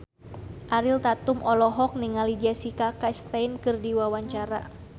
Ariel Tatum olohok ningali Jessica Chastain keur diwawancara